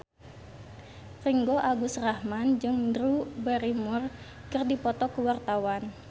Ringgo Agus Rahman jeung Drew Barrymore keur dipoto ku wartawan